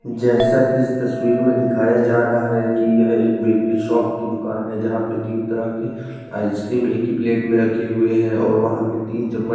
जैसा कि इस तस्वीर में दिखाया जा रहा है कि यह एक बेकरी शॉप की दुकान है जहा पे तीन तरह की आइस क्रीम एक ही प्लेट में रखी हुई है वहाँ पे तीन चमच्च --